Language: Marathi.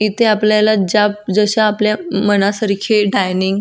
इथे आपल्याला ज्या जश्या आपल्या मनासारखे डायनिंग --